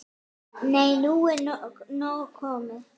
Nei, nú er nóg komið!